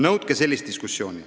Nõudke sellist diskussiooni.